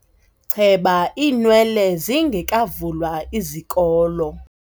Cheba iinwele zingekavulwa izikolo.